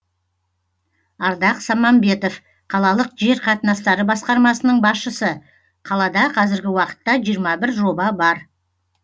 ардақ самамбетов қалалық жер қатынастары басқармасының басшысы қалада қазіргі уақытта жиырма бір жоба бар